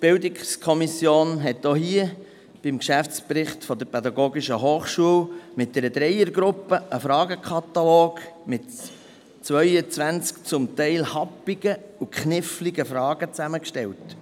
der BiK. Auch zum Geschäftsbericht der PH Bern hat eine Dreiergruppe der BiK einen Fragenkatalog mit 22 zum Teil happigen und kniffligen Fragen zusammengestellt.